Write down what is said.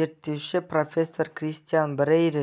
зерттеуші профессор кристиан брейер